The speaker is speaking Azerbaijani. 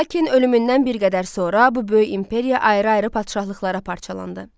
Lakin ölümündən bir qədər sonra bu böyük imperiya ayrı-ayrı padşahlıqlara parçalandı.